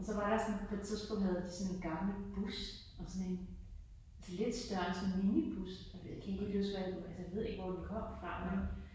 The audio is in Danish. Og så var der sådan på et tidspunkt havde de sådan en gammel bus og sådan en altså lidt større end sådan en minibus jeg kan ikke helt huske hvad altså jeg ved ikke helt, hvor den kom fra men